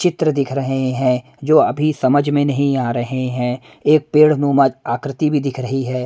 चित्र दिख रहे हैं जो अभी समझ में नहीं आ रहे हैं एक पेड़ नुमा आकृति भी दिख रही है।